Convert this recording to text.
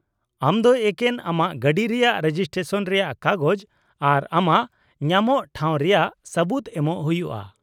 -ᱟᱢ ᱫᱚ ᱮᱠᱮᱱ ᱟᱢᱟᱜ ᱜᱟᱹᱰᱤ ᱨᱮᱭᱟᱜ ᱨᱮᱡᱤᱥᱴᱨᱮᱥᱚᱱ ᱨᱮᱭᱟᱜ ᱠᱟᱜᱚᱡ ᱟᱨ ᱟᱢᱟᱜ ᱧᱟᱢᱚᱜ ᱴᱷᱟᱸᱣ ᱨᱮᱭᱟᱜ ᱥᱟᱹᱵᱩᱫ ᱮᱢᱚᱜ ᱦᱩᱭᱩᱜᱼᱟ ᱾